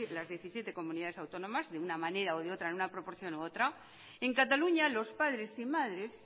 las diecisiete comunidades autónomas de una manera o de otra en una proporción u otra en cataluña los padres y madres